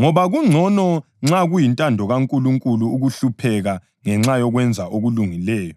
Ngoba kungcono nxa kuyintando kaNkulunkulu, ukuhlupheka ngenxa yokwenza okulungileyo